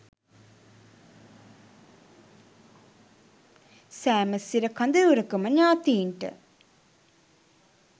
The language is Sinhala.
සෑම සිර කඳවුරකම ඥාතීන්ට